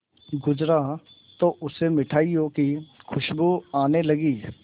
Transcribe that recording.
गुजरा तो उसे मिठाइयों की खुशबू आने लगी